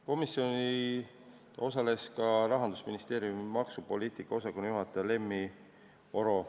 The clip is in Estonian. Komisjoni istungil osales maksupoliitika osakonna juhataja Lemmi Oro.